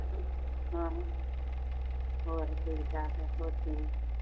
ਹਾਂ ਹੋਰ ਠੀਕ ਠਾਕ ਆ, ਹੋਰ ਤੁਸੀਂ